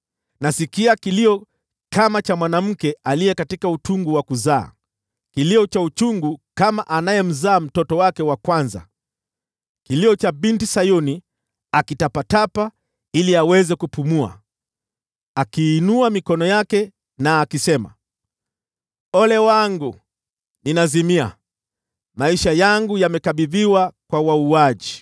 Nasikia kilio kama cha mwanamke katika utungu wa kuzaa, kilio cha uchungu kama cha anayemzaa mtoto wake wa kwanza: kilio cha Binti Sayuni akitweta ili aweze kupumua, akiinua mikono yake, akisema, “Ole wangu! Ninazimia; maisha yangu yamekabidhiwa kwa wauaji.”